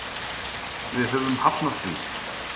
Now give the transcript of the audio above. Við höfum hafnað því.